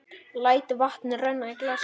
Læt vatn renna í glasið.